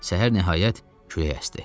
Səhər nəhayət külək əsdi.